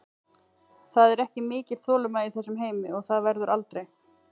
Það er ekki mikil þolinmæði í þessum heimi og það verður aldrei.